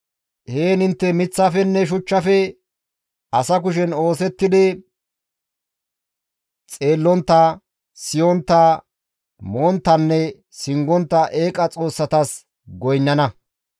Heen intte miththafenne shuchchafe asa kushen oosettidi xeellontta, siyontta, monttanne singontta eeqa xoossatas goynnana.